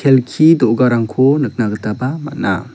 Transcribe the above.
kelki do·garangko nikna gitaba man·a.